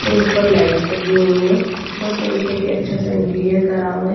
और ऊपर लाइट्स लगी हुई है बहुत तरीके के अच्छा सा इंटीरियर करा हुआ है।